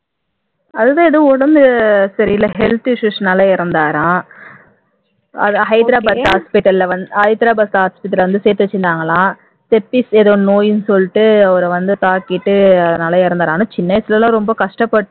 அதுதான் ஏதோ உடம்பு சரியில்ல health issues னால இறந்தாராம் அது ஹைதராபாத் hospital ல வந்ஹைதராபாத் hospital ல வந்து சேர்த்து வச்சிருந்தாங்களாம் செப்டிஸ் ஏதோ நோய்னு சொல்லிட்டு அவர வந்து தாக்கிட்டு அத்னால இறந்தார் ஆனா சின்ன வயசுலலாம் ரொம்ப கஷ்டப்பட்டு